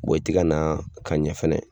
i ti ka na ka ɲɛ fɛnɛ